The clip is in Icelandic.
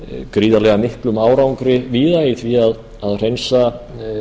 gríðarlega miklum árangri víða í því að hreinsa